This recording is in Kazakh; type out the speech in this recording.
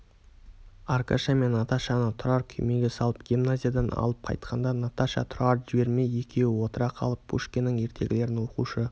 аркаша мен наташаны тұрар күймеге салып гимназиядан алып қайтқанда наташа тұрарды жібермей екеуі отыра қалып пушкиннің ертегілерін оқушы